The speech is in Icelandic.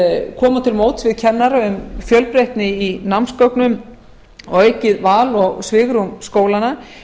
koma til móts við kennara um fjölbreytni í námsgögnum og aukið val og svigrúm skólanna